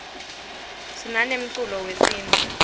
sinane mkulo yesimtfu